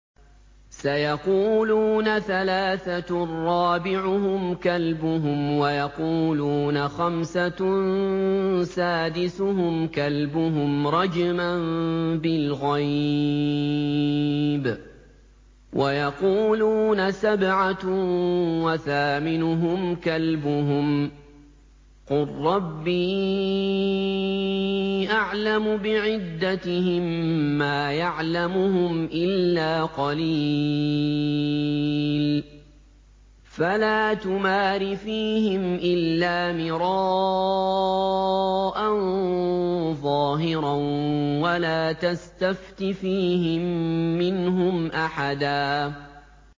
سَيَقُولُونَ ثَلَاثَةٌ رَّابِعُهُمْ كَلْبُهُمْ وَيَقُولُونَ خَمْسَةٌ سَادِسُهُمْ كَلْبُهُمْ رَجْمًا بِالْغَيْبِ ۖ وَيَقُولُونَ سَبْعَةٌ وَثَامِنُهُمْ كَلْبُهُمْ ۚ قُل رَّبِّي أَعْلَمُ بِعِدَّتِهِم مَّا يَعْلَمُهُمْ إِلَّا قَلِيلٌ ۗ فَلَا تُمَارِ فِيهِمْ إِلَّا مِرَاءً ظَاهِرًا وَلَا تَسْتَفْتِ فِيهِم مِّنْهُمْ أَحَدًا